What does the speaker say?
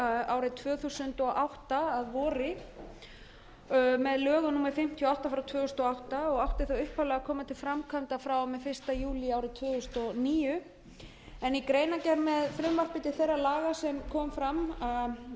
árið tvö þúsund og átta að voru með lögum númer fimmtíu og átta tvö þúsund og átta og áttu þá upphaflega að koma til framkvæmda frá og með fyrsta júlí árið tvö þúsund og níu en í greinargerð með frumvarpi til þeirra laga sem